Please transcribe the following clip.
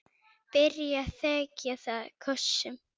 Byrjar að þekja það kossum.